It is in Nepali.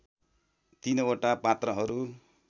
तिनवटा पात्रहरू